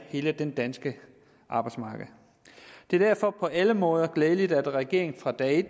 hele det danske arbejdsmarked det er derfor på alle måder glædeligt at regeringen fra dag